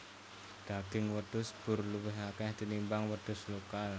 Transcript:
Daging wedhus boer luwih akeh tinimbang wedhus lokal